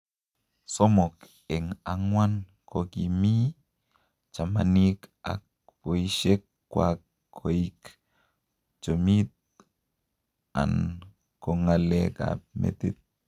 Somok eeng ang'wan kokiimi chamanik ak poishek kwak koik chomit and ko ng'alek ap metit